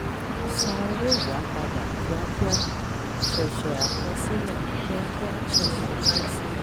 san owó yàá padà kíákíá ṣẹ̀ṣẹ̀ àkọsílẹ̀. kíákíá ṣẹ̀ṣẹ̀ àkọsílẹ̀.